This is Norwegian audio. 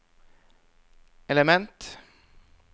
element